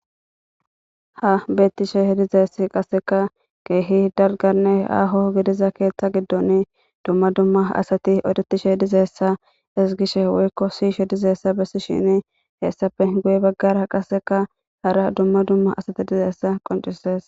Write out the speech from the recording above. ha beettishe h dizeess qasseka keehi dalgane aaho gidiza keeththa giddon dumma dumma asati odetishe dizeessa is gishe woykko siishe dizeessa bessi shini heessafe guye baggara qaseka hara dumma dumma asati dizeessa qoncises.